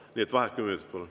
Nii et vaheaeg kümme minutit.